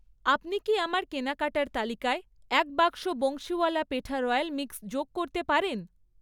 আপনি কি আমার কেনাকাটার তালিকায় এক বাক্স বংশীওয়ালা পেঠা রয়্যাল মিক্স যোগ করতে পারেন?